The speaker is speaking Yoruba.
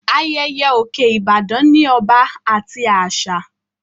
Ayẹyẹ òkè Ìbàdàn ní ọba àti àṣà